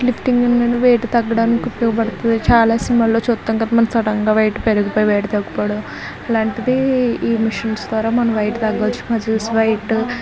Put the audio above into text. lifting అనేది weight తగ్గడానికి ఉపయోగపడ్తది ఇప్పటివరకు చాలా సినిమాల్లో చుతాం కదా మనం సడన్ గా వెయిట్ పెరిగిపోయి తగ్గిపోవడం అలాంటిది ఈ మిషన్ ద్వారా వెయిట్ తగ్గవచ్చు మజిల్స్ వెయిట్